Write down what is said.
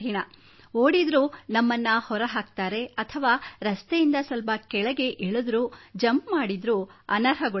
ಓಡಿದರೂ ನಮ್ಮನ್ನು ಹೊರ ಹಾಕುತ್ತಾರೆ ಅಥವಾ ರಸ್ತೆಯಿಂದ ಸ್ವಲ್ಪ ಕೆಳಗೆ ಇಳಿದರೂ ಜಂಪ್ ಮಾಡಿದರೂ ಅನರ್ಹಗೊಳಿಸುತ್ತಾರೆ